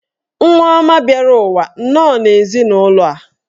Nwa ọma bịara ụwa nnọọ n'ezinụlọ a.